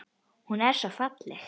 Hún var svo falleg.